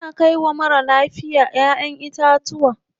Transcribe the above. Ana kai wa marar lafiya ƴaʼƴen itatuwa.